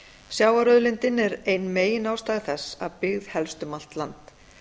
sjávarauðlindin er ein megin ástæða þess að byggð helst um allt land